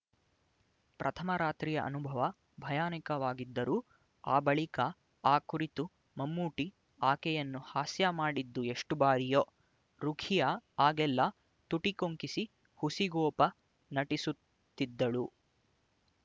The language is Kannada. ಪ್ರಥಮ ರಾತ್ರಿಯ ಅನುಭವ ಭಯಾನಕವಾಗಿದ್ದರೂ ಆ ಬಳಿಕ ಆ ಕುರಿತು ಮಮ್ಮೂಟಿ ಆಕೆಯನ್ನು ಹಾಸ್ಯ ಮಾಡಿದ್ದು ಎಷ್ಟು ಬಾರಿಯೊ ರುಖಿಯಾ ಆಗೆಲ್ಲ ತುಟಿ ಕೊಂಕಿಸಿ ಹುಸಿಗೋಪ ನಟಿಸುತ್ತಿದ್ದಳು